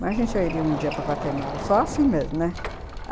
Mas se eu ia um dia para Guatemala, só assim mesmo, né?